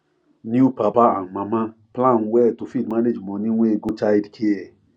new papa and mama plan well to fit manage money wey go childcare